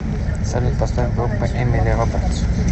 салют поставь группу эмили робертс